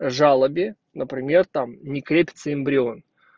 жалобе например там не крепится эмбрион